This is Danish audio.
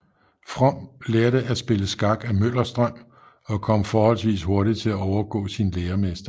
From lærte at spille skak af Møllerstrøm og kom forholdsvis hurtigt til at overgå sin læremester